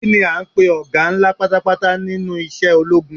Kini a ń pe ọga ńlá pátápátá nínú isẹ́ ológun?